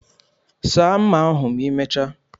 Saa mma ahu ma imechaa